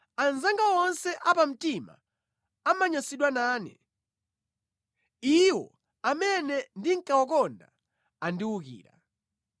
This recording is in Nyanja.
Anzanga onse apamtima amanyansidwa nane; iwo amene ndinkawakonda andiwukira.